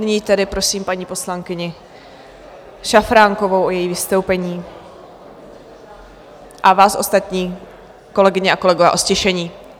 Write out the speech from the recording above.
Nyní tedy prosím paní poslankyni Šafránkovou o její vystoupení a vás ostatní, kolegyně a kolegové, o ztišení.